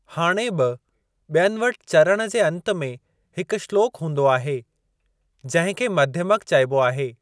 हाणे बि ॿियनि वटि चरण जे अंत में हिकु श्लोक हूंदो आहे, जहिं खे मध्यमक चइबो आहे।